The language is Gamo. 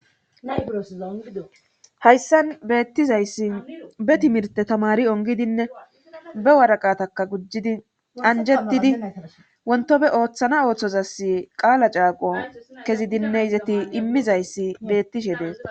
hayssan beettizayssi be timirte tamari ongidinne be waraqataka gujjidi anjettidi wontofe ooththana ooththozass qaala caaqo kezidinne izeti immizayssi beettishe dees